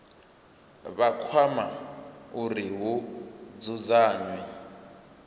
vha kwama uri hu dzudzanywe